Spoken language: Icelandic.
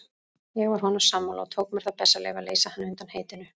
Ég var honum sammála og tók mér það bessaleyfi að leysa hann undan heitinu.